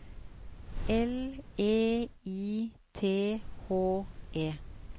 L E I T H E